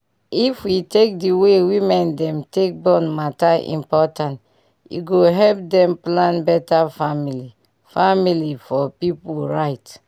if we take d way women dem take born matter important e go help dem plan beta family family for pipu right